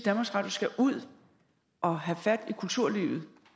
at skal ud og have fat i kulturlivet